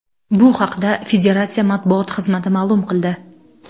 Bu haqda Federatsiya matbuot xizmati ma’lum qildi .